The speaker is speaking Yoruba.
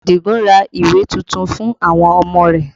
Adigun ra ìwé tuntun fún àwọn ọmọ rẹ